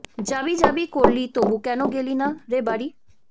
যাবি যাবি করলি তবু কেন গেলি না রে বাড়ি